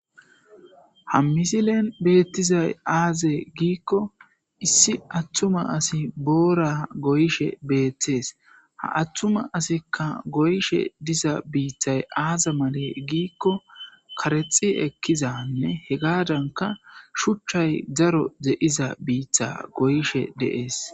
Hayssa misileza bolla taasi beetizay aaze gizayssa giddiko woykko xeelishin dizayssi issi attuma asi boora goyishe dizayssanne dumma dumma lo'iza miishata gidoyssi qoncce gididi dizayssa besees.